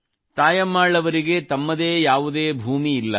ತಾಯಮ್ಮಾಳ್ ಅವರಿಗೆ ತಮ್ಮದೇ ಯಾವುದೇ ಭೂಮಿ ಇಲ್ಲ